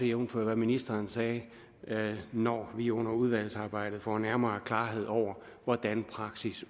jævnfør hvad ministeren sagde når vi under udvalgsarbejdet få nærmere klarhed over hvordan praksis